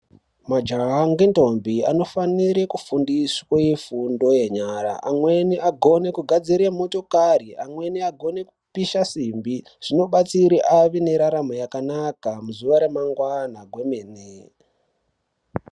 Majaha ngendombi anofanire kufundiswe fundo yenyara amweni agone kugadzire motokari, amweni agone kupisha simbi. Zvinobatsire ave neraramo yakanaka muzuwa ramangwana kwemene.